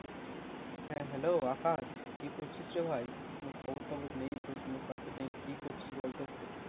হ্যাঁ Hello আকাশ কি করছিস রে ভাই, কোনো খবর টবর নেই তোর কোনো পাত্তা নেই কি করছিস বল তো একটু।